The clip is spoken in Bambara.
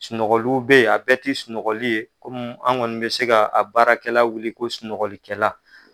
Sunɔgɔliw bɛ ye a bɛɛ ti sunɔgɔli ye kɔmi an kɔni bɛ se ka a baarakɛla wuli ko sunɔgɔli kɛla.